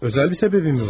Özəl bir səbəbi mi var?